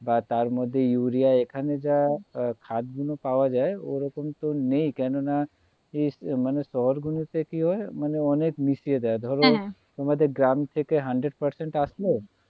বা তার মধ্যে urea এখানে যা খাদগুলো পাওয়ায় ওরকম তো নেই কেননা মানে শহর গুলিতে কিহয় মানে অনেক মিশিয়ে দেয় হ্যাঁ হ্যাঁ ধরো তোমাদের গ্রাম থেকে হান্ড্রেড percent আসলো